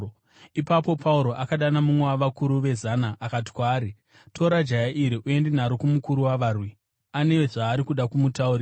Ipapo Pauro akadana mumwe wavakuru vezana akati kwaari, “Tora jaya iri uende naro kumukuru wavarwi; ane zvaari kuda kumutaurira.”